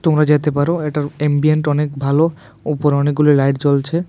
তোমরা যেতে পারো এটার এম্বিয়েন্ট অনেক ভালো উপরে অনেকগুলো লাইট জ্বলছে।